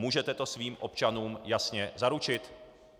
Můžete to svým občanům jasně zaručit?